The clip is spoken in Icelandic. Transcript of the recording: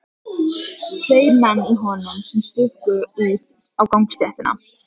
Tveir menn í honum sem stukku út á gangstéttina.